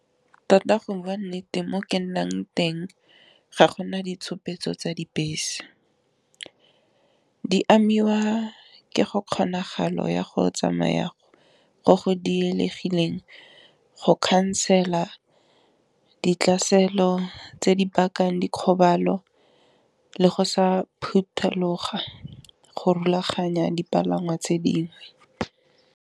Tota go bua nnete mo ke nnang teng ga gona ditshupetso tsa dibese, di amiwa ke go kgonagalo ya go tsamaya go go diregileng go khansela ditlaselo tse di bakang dikgobalo, le go sa phuthuloga go rulaganya dipalangwa tse dingwe.